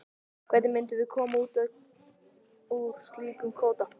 Hvernig myndum við koma út úr slíkum kvóta?